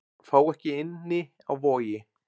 Fá ekki inni á Vogi